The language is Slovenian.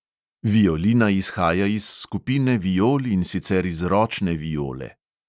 Violina izhaja iz skupine viol, in sicer iz ročne viole.